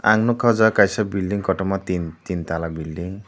ang nukha oh jaga kaisa building kotoma tin tala building .